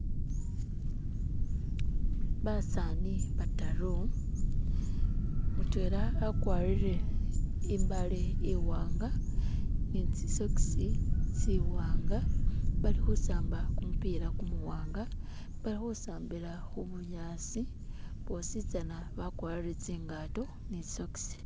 Basani bataru mutwela akwarire imbale iwanga ni tsisokisi tsiwanga bali khusamba kumupila kumuwanga bali khusambika khubunyasi bwositsana bakwarire tsingato ni tsisokisi.